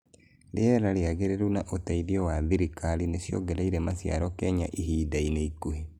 rĩera rĩagereru na ũteitherĩo wa thirikari nĩciogereire maciaro Kenya ihindainĩ ikuhe